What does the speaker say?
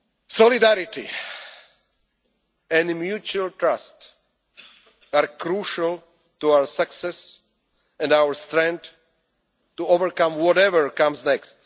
other. Solidarity and mutual trust are crucial to our success and our strength to overcome whatever comes